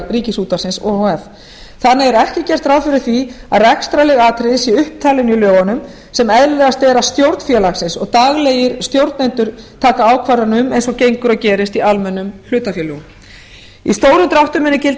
ríkisútvarpsins o h f þannig er ekki gert ráð fyrir að rekstrarleg atriði séu upptalin í lögunum sem eðlilegast er að stjórn félagsins og daglegir stjórnendur taki ákvarðanir um eins og gengur og gerist í almennum hlutafélögum í stórum dráttum munu gilda